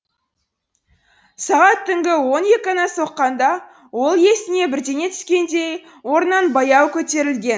сағат түнгі он екіні соққанда ол есіне бірдеңе түскендей орнынан баяу көтерілген